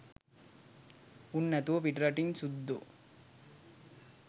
උන් නැතුව පිටරටින් සුද්දෝ